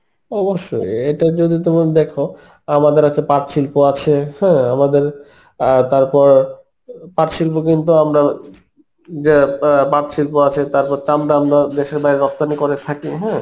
অবশ্যই এটা যদি তুমি দেখো আমাদের আছে পাট শিল্প আছে, হ্যাঁ আমাদের অ্যাঁ তারপর পাট শিল্প কিন্তু আমরা যে অ্যাঁ পাট শিল্প আছে তারপর তাম্র আমরা দেশের বাইরে রপ্তানি করে থাকি হম